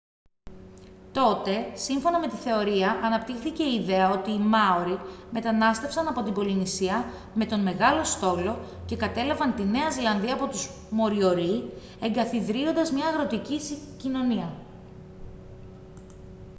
τότε σύμφωνα με τη θεωρία αναπτύχθηκε η ιδέα ότι οι μάορι μετανάστευσαν από την πολυνησία με τον «μεγάλο στόλο» και κατέλαβαν τη νέα ζηλανδία από τους μοριορί εγκαθιδρύοντας μια αγροτική κοινωνία